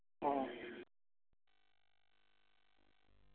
ആ